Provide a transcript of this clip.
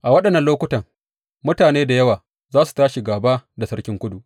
A waɗannan lokutan mutane da yawa za su tashi gāba da sarkin Kudu.